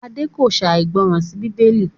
Ade kò ṣàìgbọràn sí Bíbélì